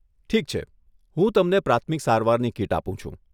ઠીક છે, હું તમને પ્રાથમિક સારવારની કીટ આપું છું.